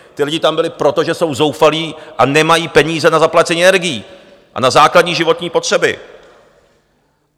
Ti lidé tam byli proto, že jsou zoufalí a nemají peníze na zaplacení energií a na základní životní potřeby.